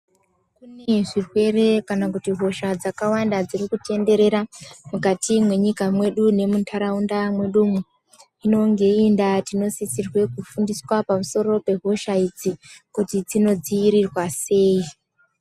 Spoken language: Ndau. Kune zvirwere kana hosha dzakawanda dzirikutenderera mukati mwenyika yedu nemuntaraunda yedu inonga iri ndaau ltinosisirwa kufunda pamusoro pehosha idzi kuti dzinodziirirwa sei .